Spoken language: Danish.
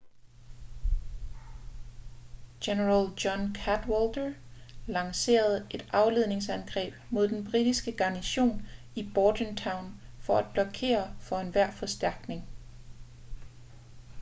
general john cadwalder lancerede et afledningsangreb mod den britiske garnison i bordentown for at blokere for enhver forstærkning